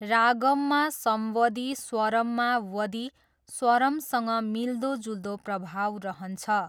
रागम्‌मा सम्वदी स्वरम्‌मा वदि स्वरमसँग मिल्दोजुल्दो प्रभाव रहन्छ।